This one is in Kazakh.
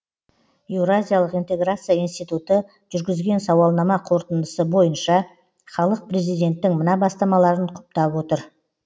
еуразиялық интеграция институты жүргізген сауалнама қорытындысы бойынша халық президенттің мына бастамаларын құптап отыр